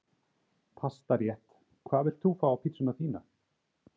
Pastarétt Hvað vilt þú fá á pizzuna þína?